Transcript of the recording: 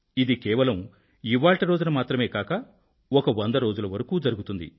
ఇది కేవలం ఇవాళ్టి రోజున మాత్రమే కాక ఒక వంద రోజుల వరకూ జరుగుతుంది